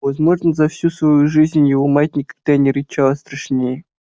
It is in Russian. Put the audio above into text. возможно за всю свою жизнь его мать никогда не рычала страшнее